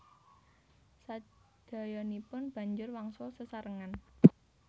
Sadayanipun banjur wangsul sesarengan